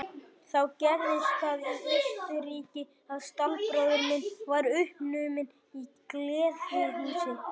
Þá gerðist það í Austurríki að stallbróðir minn varð uppnuminn í gleðihúsi.